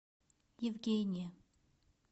евгения